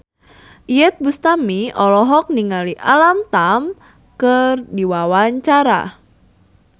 Iyeth Bustami olohok ningali Alam Tam keur diwawancara